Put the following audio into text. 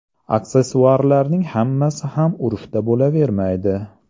Aksessuarlarning hammasi ham urfda bo‘lavermaydi.